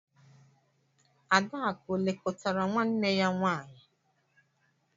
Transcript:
Adakụ o lekọtara nwanne ya nwaanyị?